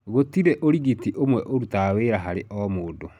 Gũtirĩ ũrigiti ũmwe ũrutaga wĩra harĩ o mũndũ.